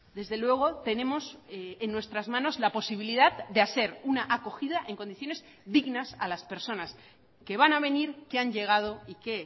desde luego tenemos en nuestras manos la posibilidad de hacer una acogida en condiciones dignas a las personas que van a venir que han llegado y que